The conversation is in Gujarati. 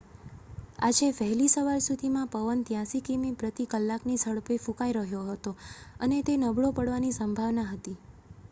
આજે વહેલી સવાર સુધીમાં પવન 83 કિમી પ્રતિ કલાકની ઝડપે ફૂંકાઈ રહ્યો હતો અને તે નબળો પડવાની સંભાવના હતી